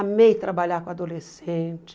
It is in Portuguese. Amei trabalhar com adolescente.